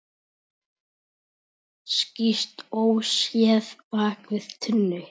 Skýst óséð bak við tunnu.